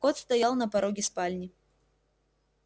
кот стоял на пороге спальни